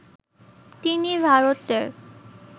তিনি ভারতের